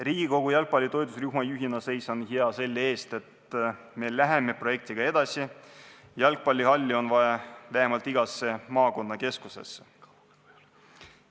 Riigikogu jalgpalli toetusrühma juhina seisan hea selle eest, et me läheme projektiga edasi: jalgpallihalli on vaja vähemalt igasse maakonnakeskusesse.